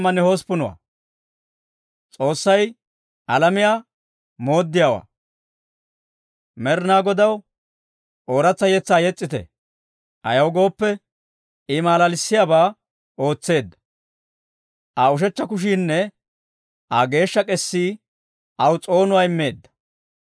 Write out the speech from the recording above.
Med'inaa Godaw ooratsa yetsaa yes's'ite; ayaw gooppe, I malalissiyaabaa ootseedda. Aa ushechcha kushiinne Aa geeshsha k'eesii aw s'oonuwaa immeedda.